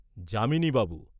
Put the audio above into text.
Jamini Babu.